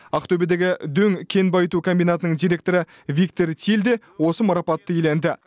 ақтөбедегі дөң кен байыту комбинатының директоры виктор тиль де осы марапатты иеленді